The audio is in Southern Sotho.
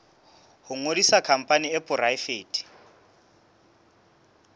ho ngodisa khampani e poraefete